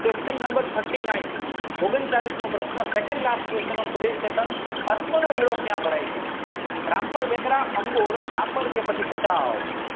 qusthion nombar thirty nine ઓગણચાલીશ મોં પ્રશ્ન અશ્વનો મેળો ક્યાં ભરાય છે રામપર વેકરા ભાચવ